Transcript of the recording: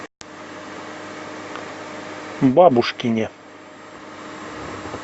бабушкине